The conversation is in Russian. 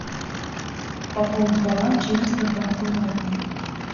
пополнить баланс через сбербанк онлайн